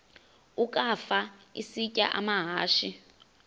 ukafa isitya amahashe